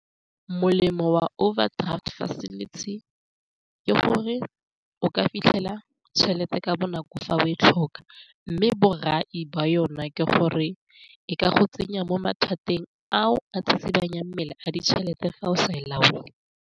Molemo wa overdraft facility ke gore o ka fitlhela tšhelete ka bonako fa o e tlhoka, mme borai wa yona ke gore e ka go tsenya mo mathateng ao a tsitsibanyang mmele a ditšhelete fa o sa e laole.